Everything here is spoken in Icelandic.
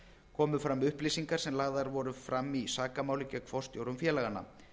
komu fram upplýsingar sem lagðar voru fram í sakamáli gegn forstjórum félaganna